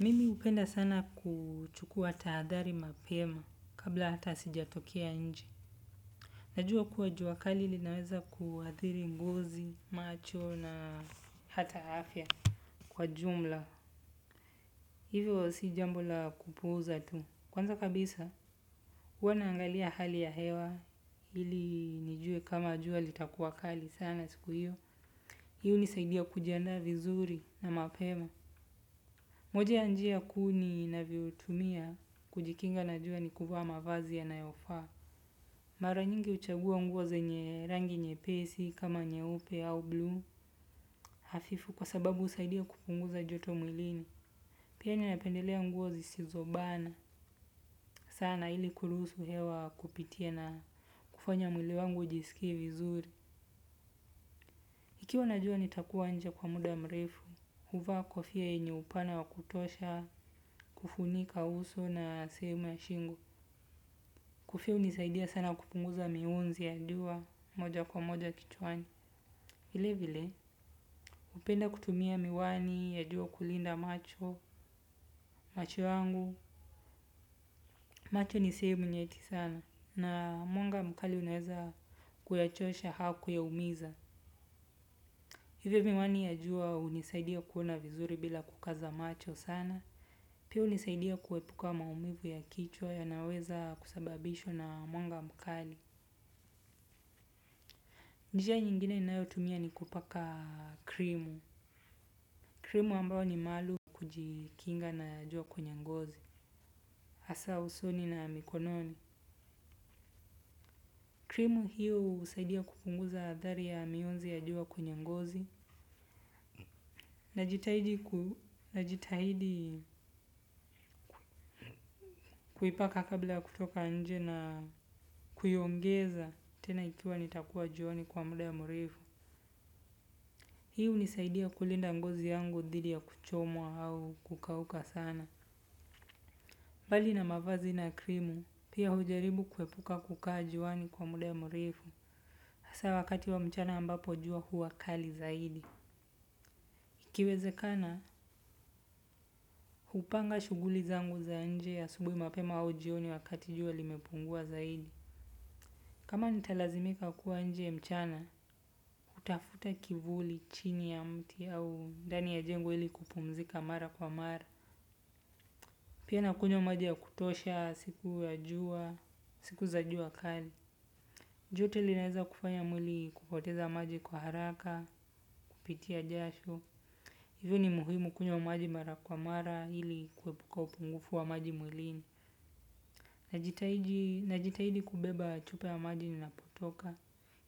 Mimi hupenda sana kuchukua tahadhari mapema kabla hata sijatokea nje najua kuwa juwakali linaweza kuathiri ngozi macho na hata afya kwa jumla hivyo si jambo la kupuuza tu kwanza kabisa huwa naangalia hali ya hewa ili nijue kama juwa litakuwakali sana siku hiyo hiyo hunisaidia kujiandaa vizuri na mapema moja ya njia kuu ninavyotumia kujikinga na jua ni kuvaa mavazi yanayofaa mara nyingi huchagua nguo zenye rangi nyepesi kama nyeupe au blue hafifu kwa sababu husaidia kupunguza joto mwilini. Pia ninapendelea nguo zisizobana sana ili kuruhusu hewa kupitia na kufanya mwili wangu ujisikie vizuri. Kukiwa na jua nitakuwa nje kwa muda mrefu, huvaa kofia yenye upana wa kutosha, kufunika uso na sehemu ya shingo. Kofia hunisaidia sana kupunguza mionzi ya juwa moja kwa moja kichwani. Vile vile. Hupenda kutumia miwani ya jua kulinda macho, macho yangu. Macho ni sehemu nyeti sana. Na mwanga mkali unaweza kuyachosha au kuyaumiza. Hivyo miwani ya jua hunisaidia kuona vizuri bila kukaza macho sana. Pia hunisaidia kuepuka maumivu ya kichwa yanayoweza kusababishwa na mwanga mkali. Njia nyingine ninayotumia ni kupaka krimu. Krimu ambayo ni maalumu kujikinga na jua kwenye ngozi. Hasa usoni na mikononi. Krimu hiyo husaidia kupunguza athari ya mionzi ya jua kwenye ngozi. Najitahidi kuipaka kabla ya kutoka nje na kuiongeza tena ikiwa nitakuwa juani kwa muda murefu. Hii hunisaidia kulinda ngozi yangu dhidi ya kuchomwa au kukauka sana. Mbali na mavazi na krimu, pia hujaribu kuepuka kukaa juwani kwa muda ya mrefu. Hasa wakati wa mchana ambapo jua huwa kali zaidi. Ikiwezekana, hupanga shughuli zangu za nje asubuhi mapema au jioni wakati jua limepungua zaidi. Kama nitalazimika kuwa nje mchana, hutafuta kivuli chini ya mti au ndani ya jengo ili kupumzika mara kwa mara. Pia nakunywa maji ya kutosha siku ya jua, siku za jua kali. Joto linaweza kufanya mwili kupoteza maji kwa haraka, kupitia jasho. Hivyo ni muhimu kunywa maji mara kwa mara ili kuepuka upungufu wa maji mwilini. Najitahidi kubeba chupa ya maji ninapotoka